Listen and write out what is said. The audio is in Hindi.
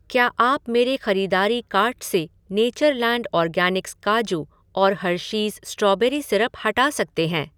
क्या आप मेरे ख़रीदारी कार्ट से नेचरलैंड ऑर्गैनिक्स काजू और हर्शीज़ स्ट्रॉबेरी सिरप हटा सकते हैं ?